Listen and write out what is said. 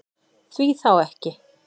Því þá ekki?